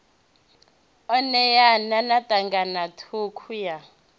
u ṋeana na ṱhanganathukhu ya